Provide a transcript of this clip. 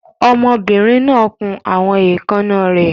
Ọmọbìnrin náà kun àwọn èékánná rẹ̀.